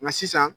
Nka sisan